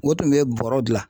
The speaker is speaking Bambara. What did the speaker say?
O tun bɛ bɔrɔ